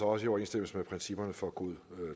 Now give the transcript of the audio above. også i overensstemmelse med principperne for god